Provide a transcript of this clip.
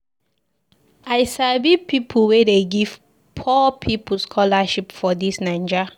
I sabi plenty pipu wey dey give poor pipu scholarship for dis Naija.